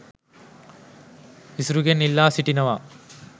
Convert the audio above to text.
ඉසුරුගෙන් ඉල්ලා සිටිනවා